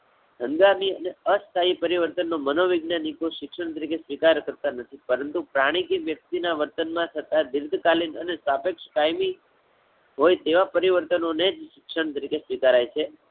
હંગામી અને અસ્થાયી પરિવર્તન નો મનોવૈજ્ઞાનિકો શિક્ષણ તરીકે સ્વીકારતા નથી. પરંતુ પ્રાણી કે વ્યક્તિ ના વર્તન માં થતાં દીર્ઘકાલીન અને સાપેકક્ષ કાયમી હોય તેવા પરિવર્તનો ને જ શિક્ષણ તરીકે સ્વીકારાય છે.